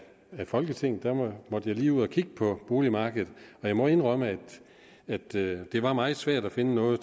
folketinget måtte jeg lige ud og kigge på boligmarkedet og jeg må indrømme at det var meget svært at finde noget